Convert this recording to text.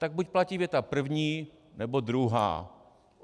Tak buď platí věta první, nebo druhá.